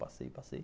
Passei, passei.